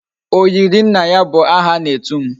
Oyiri nna ya bu aha ana etum